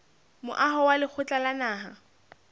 moaho wa lekgotla la naha